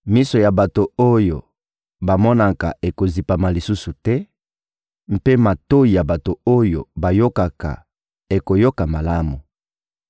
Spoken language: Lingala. Miso ya bato oyo bamonaka ekozipama lisusu te, mpe matoyi ya bato oyo bayokaka ekoyoka malamu.